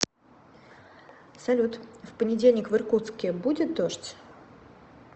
салют в понедельник в иркутске будет дождь